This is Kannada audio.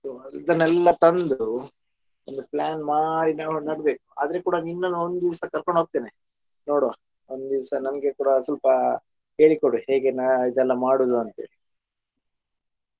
ಇದನೆಲ್ಲ ತಂದು ಒಂದು plan ಮಾಡಿ ನಾವು ನಡ್ಬೇಕು ಆದ್ರೆ ಕೂಡ ನಿನ್ನನ್ನು ಒಂದಿವಸ ಕರ್ಕೊಂಡ್ ಹೋಗ್ತೇನೆ ನೋಡ್ವ ಒಂದಿವಸ ನನ್ಗೆ ಕೂಡಾ ಸ್ವಲ್ಪ ಹೇಳಿ ಕೊಡು ಹೇಗೆ ಇದೆಲ್ಲಾ ಮಾಡುವುದು ಅಂತೇಳಿ.